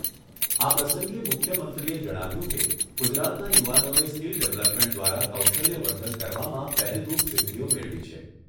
આ પ્રસંગે મુખ્યમંત્રીએ જણાવ્યુંં કે, ગુજરાતનાં યુવાનોએ સ્કીલ ડેવલપમેન્ટ દ્વારા કૌશલ્યવર્ધન કરવામાં પહેલરૂપ સિદ્ધિઓ મેળવી છે.